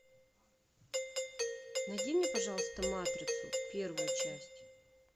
найди мне пожалуйста матрицу первую часть